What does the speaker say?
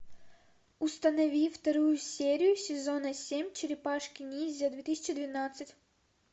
установи вторую серию сезона семь черепашки ниндзя две тысячи двенадцать